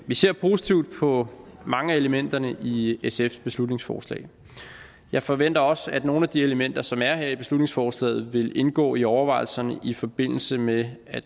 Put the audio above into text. vi ser positivt på mange af elementerne i sfs beslutningsforslag jeg forventer også at nogle af de elementer som er her i beslutningsforslaget vil indgå i overvejelserne i forbindelse med at